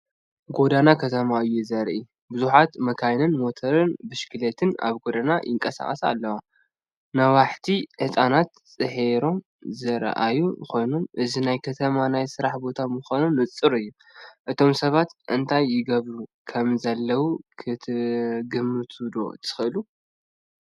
ጎደና ከተማ እዩ ዘርኢ። ብዙሓት መካይንን ሞተር ብሽክለታን ኣብ ጎደና ይንቀሳቐሳ ኣለዋ። ነዋሕቲ ህንጻታት ድሒሮም ዝረኣዩ ኮይኖም እዚ ናይ ከተማ ናይ ስራሕ ቦታ ምዃኑ ንጹር እዩ። እቶም ሰባት እንታይ ይገብሩ ከምዘለዉን ክትግምቱ ዶ ትኽእሉ?